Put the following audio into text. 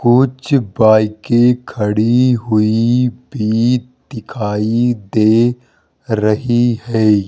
कुछ बाईकें खड़ी हुई भी दिखाई दे रही है।